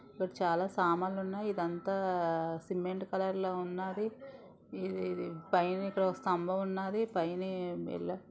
ఇక్కడ చాలా సామాన్లు ఉన్నాయ ఇదంతా సిమెంట్ కలర్ లో ఉన్నది ఇది పైన స్తంభం ఉన్నది పైన.